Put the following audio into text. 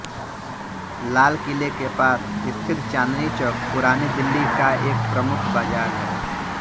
लाल किले के पास स्थित चाँदनी चौक पुरानी दिल्ली का एक प्रमुख बाज़ार है